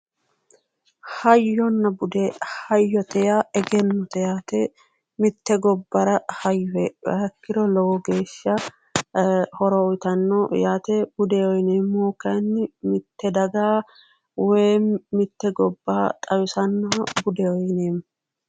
Hayyonna bude hayyote yaa egennote yaate mitte gobbara hayyo heedhuha ikkiro lowo geeshsha horo uyitanno yaate budeho yineemmohu kayinni mitte daga woyi mitte gobba xawisannoha budeho yineemmo